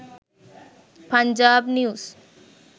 punjab news